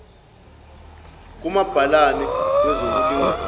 kumabhalane wezokul ingana